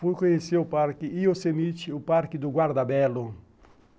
Fui conhecer o parque Yosemite, o parque do Guardabelo.